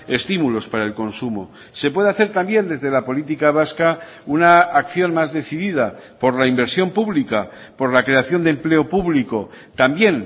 estímulos para el consumo se puede hacer también desde la política vasca una acción más decidida por la inversión pública por la creación de empleo público también